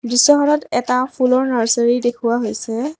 দৃশ্যখনত এটা ফুলৰ নাৰ্চাৰী দেখুওৱা হৈছে।